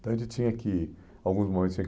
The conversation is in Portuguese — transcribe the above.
Então, a gente tinha que, em alguns momentos tinha